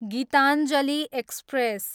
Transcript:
Geetanjali express